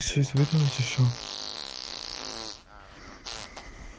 чуть вытянуть ещё